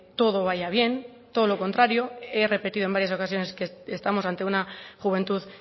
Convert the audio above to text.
todo vaya bien todo lo contrario he repetido en varias ocasiones que estamos ante una juventud